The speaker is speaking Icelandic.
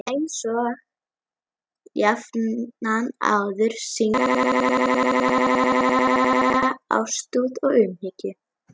Einsog jafnan áður sýndi hún mér ríka ástúð og umhyggju.